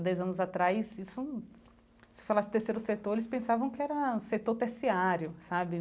Dez anos atrás isso, se falasse terceiro setor, eles pensavam que era setor terciário sabe.